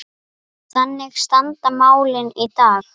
Þannig standa málin í dag.